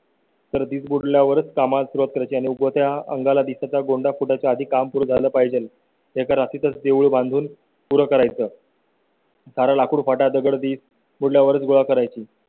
तर ती सगळ्यां वरच का? मात्र त्या ची आणि त्याच्या अंगा ला तिथे गोंडा कोटा च्या आधी काम पूर्ण झालं पाहिजे. एका रात्री तच देवळे बांधून पूर्ण करायचं. तारा लाकूड फाटा दगडी पूल यावरच गोळा करायची.